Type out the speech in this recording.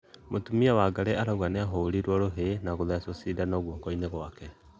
Mũtũmĩa Wangari araũga nĩahũrĩrwo rũhĩ na agĩthecwo cĩndano gũokoĩnĩ gwake